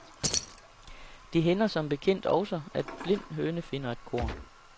Det hænder som bekendt også, at blind høne finder et korn.